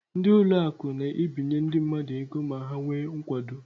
Ndị ụlọakụ na-ebinye ndị mmadụ ego ma ha nwee nkwado.